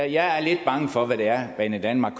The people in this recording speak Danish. jeg er lidt bange for hvad det er banedanmark